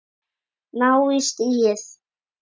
Ná í stigið.